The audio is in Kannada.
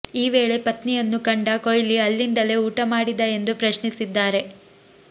ಈ ವೇಳೆ ಪತ್ನಿಯನ್ನು ಕಂಡ ಕೊಹ್ಲಿ ಅಲ್ಲಿಂದಲೇ ಊಟ ಮಾಡಿದಾ ಎಂದು ಪ್ರಶ್ನಿಸಿದ್ದಾರೆ